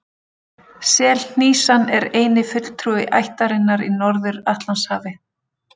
Selhnísan er eini fulltrúi ættarinnar í Norður-Atlantshafi.